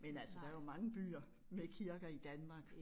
Men altså der jo mange byer med kirker i Danmark